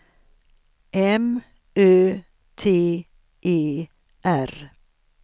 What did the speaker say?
M Ö T E R